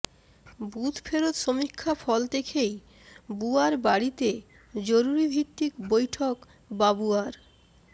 booth ফেরত্ সমীক্ষা ফল দেখেই বুয়ার বাড়িতে জরুরীভিত্তিক বৈঠক বাবুয়ার